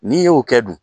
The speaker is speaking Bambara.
N'i y'o kɛ dun